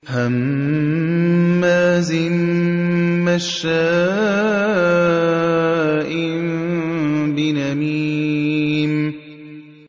هَمَّازٍ مَّشَّاءٍ بِنَمِيمٍ